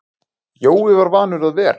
Jói var vanur að vera.